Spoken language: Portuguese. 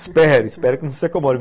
Espero, espero que não se acomode.